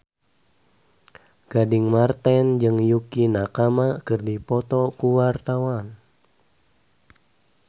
Gading Marten jeung Yukie Nakama keur dipoto ku wartawan